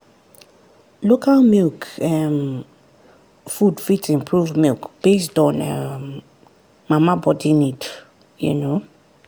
local milk um food fit improve milk based on um mama body need. um